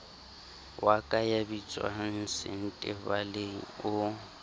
wa ka ya bitswangsentebaleng o